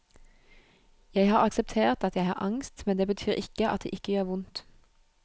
Jeg har akseptert at jeg har angst, men det betyr ikke at det ikke gjør vondt.